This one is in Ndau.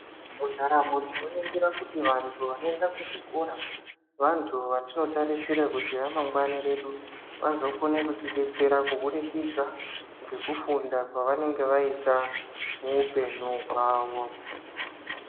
Mundaramo tinoningira kuti vantu vanoenda kuzvikora vantu vatinotarisira kuti ramangwani redu, vazokone kutibetsera kubudikidza ngekufunda kwavanenge vaita muupenyu hwavo.